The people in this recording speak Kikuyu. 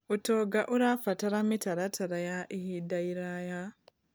ũtonga ũrabatara mĩtaratara ya ihinda iraya.